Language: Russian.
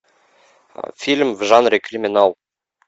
фильм в жанре криминал